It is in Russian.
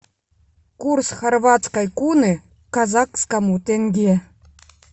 курс хорватской куны к казахскому тенге